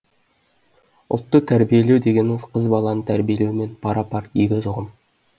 ұлтты тәрбиелеу дегеніміз қыз баланы тәрбиелеумен пара пар егіз ұғым